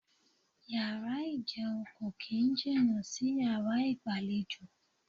Yàrá ìjẹun kò kín ń jìnà sí yàrá ìgbàlejò.